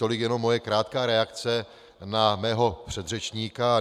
Tolik jenom moje krátká reakce na mého předřečníka.